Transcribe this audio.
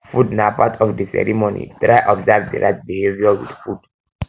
food na part of di ceremony try observe di right behaviour with food